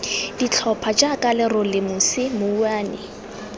ditlhopha jaaka lerole mosi mouwane